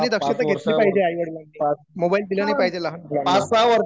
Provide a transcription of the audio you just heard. त्यांनी दक्षता घेतली पाहिजे आई वडिलांनी मोबाईल दिला नाही पाहिजे लहान मुलांना